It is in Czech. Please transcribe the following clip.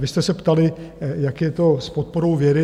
Vy jste se ptali, jak je to s podporou vědy.